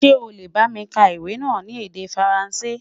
sọ lẹ bá mí ka iwè nà ní èdè faransé?